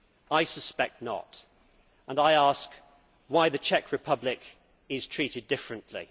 I suspect not, and I ask why the Czech Republic is treated differently.